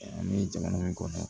An bɛ jamana min kɔnɔ